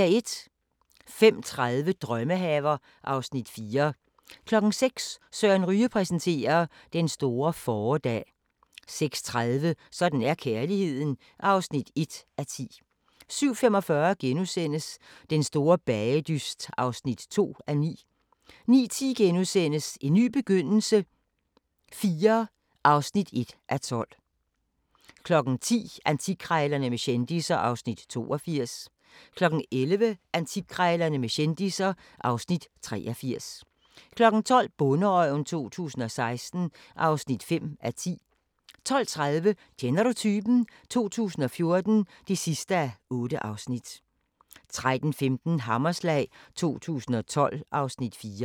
05:30: Drømmehaver (Afs. 4) 06:00: Søren Ryge præsenterer: Den store fåredag 06:30: Sådan er kærligheden (1:10) 07:45: Den store bagedyst (2:9)* 09:10: En ny begyndelse IV (1:12)* 10:00: Antikkrejlerne med kendisser (Afs. 82) 11:00: Antikkrejlerne med kendisser (Afs. 83) 12:00: Bonderøven 2016 (5:10) 12:30: Kender du typen? 2014 (8:8) 13:15: Hammerslag 2012 (Afs. 4)